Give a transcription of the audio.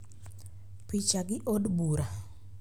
Picha gi Od Bura.